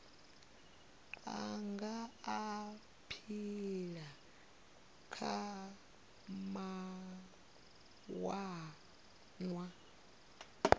a nga aphila kha mawanwa